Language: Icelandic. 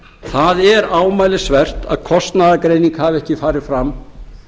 það er ámælisvert að kostnaðargreining hafi ekki farið fram